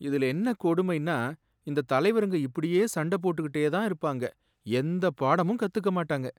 இதுல என்ன கொடுமைன்னா, இந்த தலைவருங்க இப்படியே சண்டை போட்டுக்கிட்டே தான் இருப்பாங்க, எந்தப் பாடமும் கத்துக்கமாட்டாங்க.